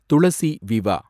துளசி விவா